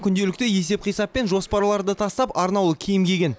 күнделікті есеп қисап пен жоспарларды тастап арнаулы киім киген